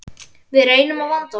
Við reynum að vanda okkur.